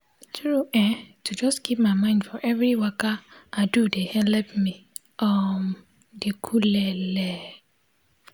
tru[um]to jus keep my mind for every waka i do de helep me um dey cooleleleeee